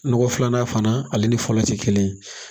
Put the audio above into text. Nɔgɔ filanan fana ale ni fɔlɔ tɛ kelen